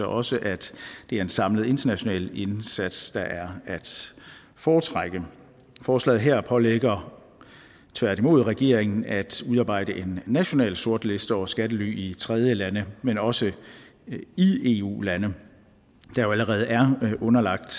også at det er en samlet international indsats der er at foretrække forslaget her pålægger tværtimod regeringen at udarbejde en national sortliste over skattely i tredjelande men også i eu lande der jo allerede er underlagt